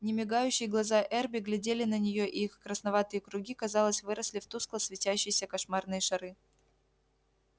немигающие глаза эрби глядели на неё и их красноватые круги казалось выросли в тускло светящиеся кошмарные шары